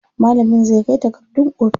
Malamin zai kai takardun ofis.